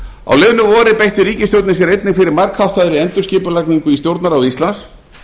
á liðnu vori beitti ríkisstjórnin sér einnig fyrir margháttaðri endurskipulagningu í stjórnarráði íslands